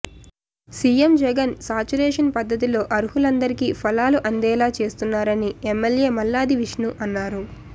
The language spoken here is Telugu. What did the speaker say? సీఎం జగన్ సాచురేషన్ పద్ధతిలో అర్హులందిరికీ ఫలాలు అందేలా చేస్తున్నారని ఎమ్మెల్యే మల్లాది విష్ణు అన్నారు